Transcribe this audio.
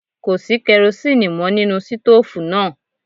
Kò sí kerosíínì mọ́ nínú sítòòfù náà.